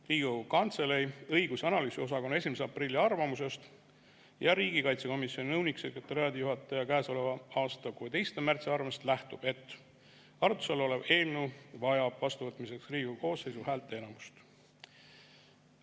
Riigikogu Kantselei õigus‑ ja analüüsiosakonna 1. aprilli arvamusest ja riigikaitsekomisjoni nõunik-sekretariaadijuhataja käesoleva aasta 16. märtsi arvamusest lähtub, et arutluse all olev eelnõu vajab vastuvõtmiseks Riigikogu koosseisu häälteenamust.